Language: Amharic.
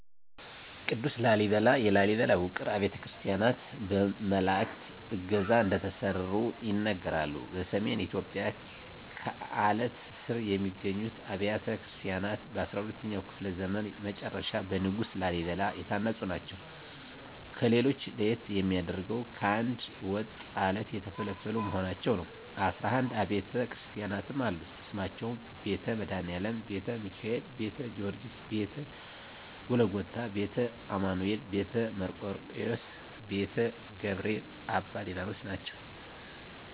ቅዱስ ላሊበላ የላሊበላ ውቅር አብያተ ክርስቲያናት በመላዕክት ዕገዛ እንደተሠሩ ይነገራል። በሰሜን ኢትዮጵያ ከአለት ስር የሚገኙት አብያተ ክርስቲያናት በ12ኛው ክፍለ ዘመን መጨረሻ በንጉሥ ላሊበላ የታነጹ ናቸው። ከሌሎች ለየት የሚያደርገው ከአንድ ወጥ ዐለት የተፈለፈሉ መሆናቸው ነው 11 አቢያተ ክርስቲያናትም አሉት ስማቸውም ቤተ መድኃኒአለም: ቤተ ሚካኤል: ቤተ ጊዎርጊስ :ቤተ ጎልጎታ :ቤተ አማኑኤል: ቤተ መርቆሪዎስ :ቤተ ገብርኤል: አባ ሊባኖስ ናቸው